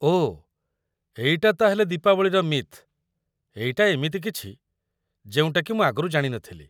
ଓଃ, ଏଇଟା ତା'ହେଲେ ଦୀପାବଳିର ମିଥ୍ । ଏଇଟା ଏମିତି କିଛି ଯେଉଁଟାକି ମୁଁ ଆଗରୁ ଜାଣି ନଥିଲି ।